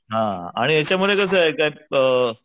हा आणि याच्या मध्ये कसंय के अ,